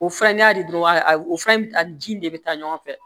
O fɛrɛ n'i y'a di dɔrɔn a fana bi taa ni ji in de bɛ taa ɲɔgɔn fɛ